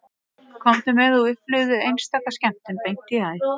Komdu með og upplifðu einstaka skemmtun beint í æð